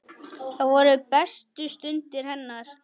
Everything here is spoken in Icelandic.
Það voru bestu stundir hennar.